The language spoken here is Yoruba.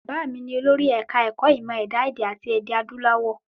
Bàbá mi ni olórí ẹ̀ka ẹ̀kọ́ ìmọ ẹ̀dá èdè àti èdè adúláwọ̀.